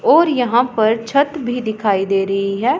और यहां पर छत भी दिखाई दे रहीं हैं।